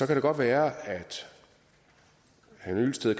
det godt være at herre hyllested